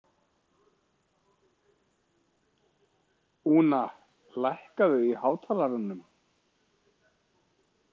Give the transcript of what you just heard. Úna, lækkaðu í hátalaranum.